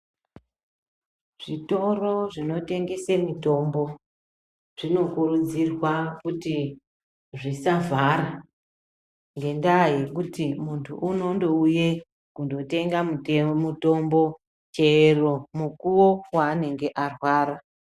Zvitoro zvino tengesa mitombo zvino kuridzirwa kuti zvisavhara ngendaya yekuti muntu ano ndouya kunotenge mitombo chero mukuwo waanenge arwara.